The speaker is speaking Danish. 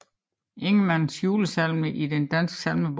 Ingemann Julesalmer Salmer i Den Danske Salmebog